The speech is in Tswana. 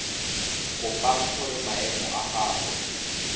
kopang gore maemo a gagwe